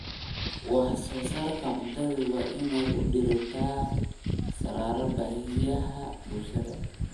Wax-soo-saarka cuntadu waa in uu diiradda saaraa baahiyaha bulshada.